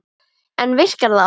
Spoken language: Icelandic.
En virkar það?